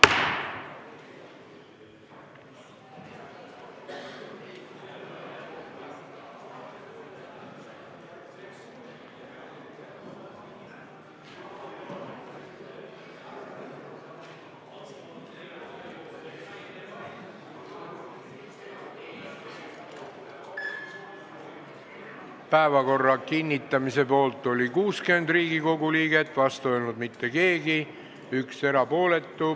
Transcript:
Hääletustulemused Päevakorra kinnitamise poolt oli 60 Riigikogu liiget, vastu ei olnud keegi, 1 oli erapooletu.